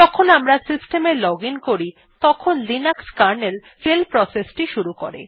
যখন আমরা সিস্টেমে লজিন করি তখন লিনাক্স কার্নেল শেল প্রসেসটি শুরু করে